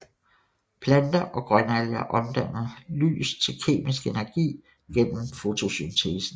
Planter og grønalger omdanner lys til kemisk energi gennem fotosyntesen